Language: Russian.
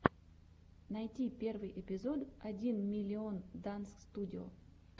найти первый эпизод один миллион данс студио